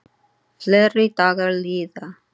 Fleiri dagar líða.